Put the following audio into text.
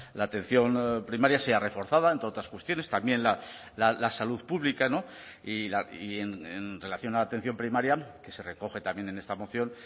la atención primaria sea reforzada entre otras cuestiones también la salud pública y en relación a la atención primaria que se recoge también en esta moción